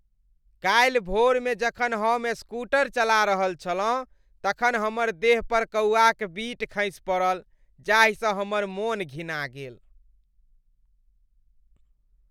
काल्हि भोरमे जखन हम स्कूटर चला रहल छलहुँ तखन हमर देह पर कौआक बीट खसि पड़ल जाहिसँ हमर मोन घिना गेल।